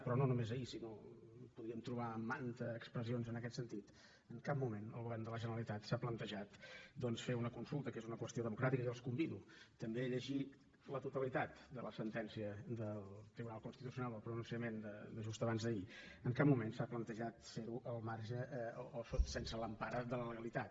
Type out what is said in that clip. però no només ahir sinó que podríem trobar mantes expressions en aquest sentit en cap moment el govern de la generalitat s’ha plantejat doncs fer una consulta que és una qüestió democràtica i jo els convido també a llegir la totalitat de la sentència del tribunal constitucional el pronunciament de just abans d’ahir en cap moment s’ha plantejat fer la al marge o sense l’empara de la legalitat